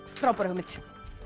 frábæra hugmynd